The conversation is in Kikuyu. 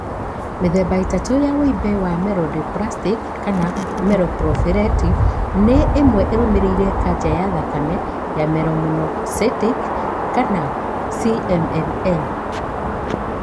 Mĩthemba ĩthatũ ya wimbe wa myelodysplastic /myeloproliferative nĩ ĩno ĩrũmĩrĩire :kanca ya thakame ya myelomonocytic (CMML)